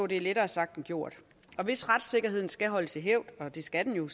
det er lettere sagt end gjort og hvis retssikkerheden skal holdes i hævd og det skal den jo